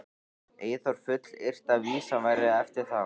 Eyþór fullyrti að vísan væri eftir þá